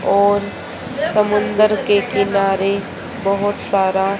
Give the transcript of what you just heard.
और समुंदर के किनारे बहुत सारा--